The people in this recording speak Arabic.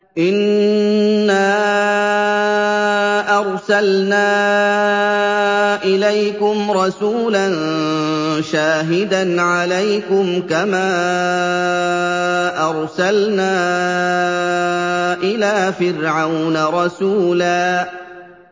إِنَّا أَرْسَلْنَا إِلَيْكُمْ رَسُولًا شَاهِدًا عَلَيْكُمْ كَمَا أَرْسَلْنَا إِلَىٰ فِرْعَوْنَ رَسُولًا